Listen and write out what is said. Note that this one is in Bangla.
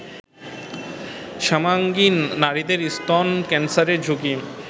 শ্যামাঙ্গী নারীদের স্তন ক্যান্সারের ঝুঁকি